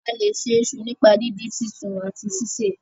a lẹ ṣe iṣu nípa didin, sisùn àti síse.